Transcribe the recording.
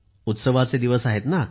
उत्सवाचे दिवस आहेत ना